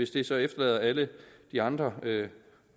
det så efterlader alle de andre